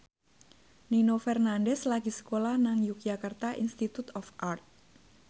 Nino Fernandez lagi sekolah nang Yogyakarta Institute of Art